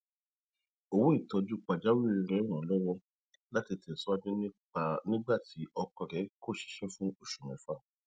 owó ìtójú pajawiri rẹ ràn án lọwọ láti tẹsíwájú nígbà tí ọkọ rẹ kò ṣiṣẹ fún oṣù mẹfà